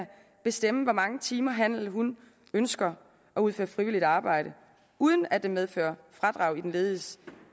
bestemme hvor mange timer han eller hun ønsker at udføre frivilligt arbejde uden at det medfører fradrag i den lediges